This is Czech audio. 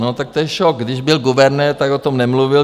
No tak to je šok, Když byl guvernér, tak o tom nemluvil.